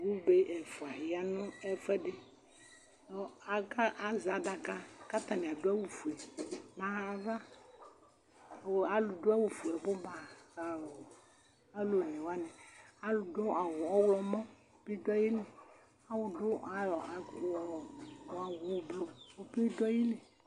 Alʋ be ɛfʋa ya nʋ ɛfʋɛdɩ nʋ aka azɛ adaka katanɩ adʋ awʋ fue aɣa ava Kalʋ dʋ awʋ fue abʋ ba, alʋ dʋ awʋ ɔɣlɔmɔ bɩ dʋ ayiliAlʋ dʋ awʋ ʋblʋ bɩ dʋ ayili